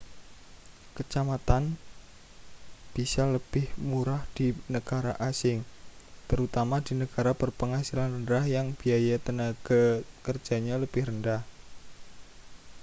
kacamata bisa lebih murah di negara asing terutama di negara berpenghasilan rendah yang biaya tenaga kerjanya lebih rendah